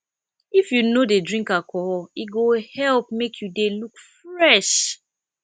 if you no dey drink alcohol e go help make you dey look fresh